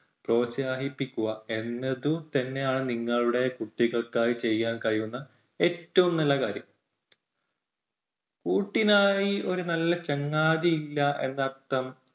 പ്രോത്സാഹിപ്പിക്കുക എന്നതു തന്നെയാണ് നിങ്ങളുടെ കുട്ടികൾക്കായി ചെയ്യാൻ കഴിയുന്ന ഏറ്റവും നല്ല കാര്യം. കൂട്ടിനായി ഒരു നല്ല ചങ്ങാതി ഇല്ല എന്ന് അർത്ഥം